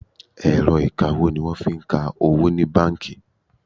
Ẹ̀rọ ìkawó ní wọ́n fí ń ka owó ní bánkì.